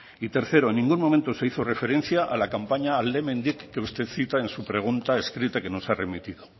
y tercero en ningún momento se hizo referencia a la campaña alde hemendik que usted cita en su pregunta escrita que nos ha remitido